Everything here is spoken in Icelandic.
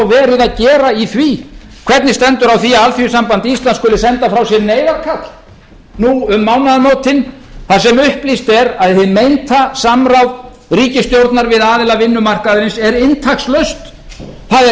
verið að gera í því hvernig stendur á því að alþýðusamband íslands skuli senda frá sér neyðarkall nú um mánaðamótin þar sem upplýst er að hið meinta samráð ríkisstjórnar við aðila vinnumarkaðarins er inntakslaust það er